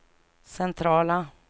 centrala